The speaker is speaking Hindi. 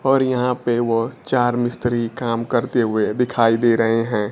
और यहां पे वह चार मिस्त्री काम करते हुए दिखाई दे रहे है।